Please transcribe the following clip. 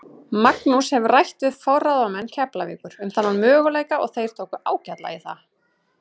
Magnús hefur rætt við forráðamenn Keflavíkur um þennan möguleika og þeir tóku ágætlega í það.